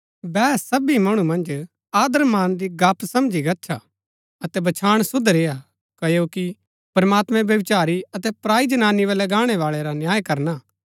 बैह सबी मणु मन्ज आदरमान री गप्‍प समझी गच्छा अतै बछांण शुद्ध रेय्आ क्ओकि प्रमात्मैं व्यभिचारी अतै पराई जनानी बल्लै गाणै बाळै रा न्याय करना